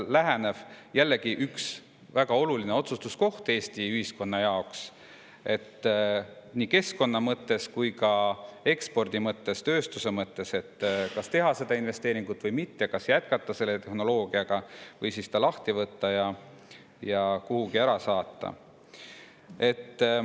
See on jällegi üks väga oluline otsustuskoht Eesti ühiskonna jaoks – nii keskkonna mõttes kui ka ekspordi ja tööstuse mõttes –, et kas teha see investeering või mitte, kas jätkata selle tehnoloogiaga või see lahti võtta ja kuhugi ära saata.